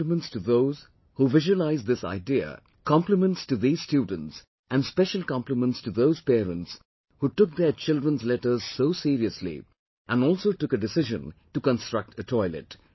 My compliments to those who visualized this idea, compliments to these students and special compliments to those parents who took their childrens' letters so seriously and also took a decision to construct a toilet